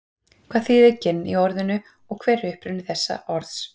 hvað þýðir ginn í orðinu og hver er uppruni þessa orðs